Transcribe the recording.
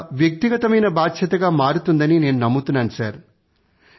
ఇది ఒక వ్యక్తిగత బాధ్యతగా మారుతుందని నేను నమ్ముతున్నాను